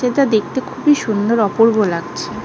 এটা দেখতে খুবই সুন্দর অপূর্ব লাগছে।